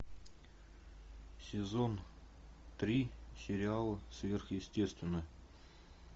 сезон три сериал сверхъестественное